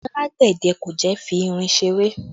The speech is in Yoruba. Alágbẹ̀dẹ kò jẹ́ fi irin ṣe eré